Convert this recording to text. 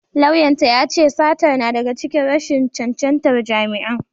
Lauyan ta ya ce satar na daga cikin rashin cancantar jami’an.